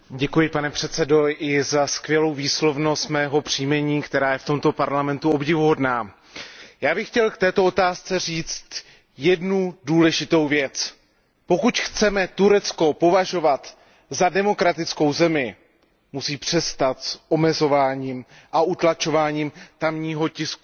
Pane předsedající, děkuji i za skvělou výslovnost mého příjmení, která je v tomto parlamentu obdivuhodná. Já bych chtěl k této otázce říct jednu důležitou věc. Pokud chceme Turecko považovat za demokratickou zemi, musí přestat s omezováním a utlačováním tamního tisku.